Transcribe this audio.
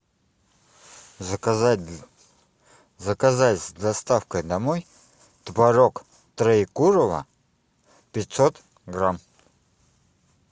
заказать заказать с доставкой домой творог троекурово пятьсот грамм